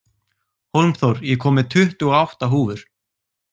Hólmþór, ég kom með tuttugu og átta húfur!